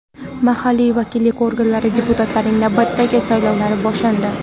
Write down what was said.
mahalliy vakillik organlari deputatlarining navbatdagi saylovlari boshlandi.